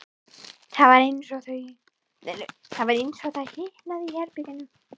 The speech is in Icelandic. Það var eins og það hitnaði í herberginu.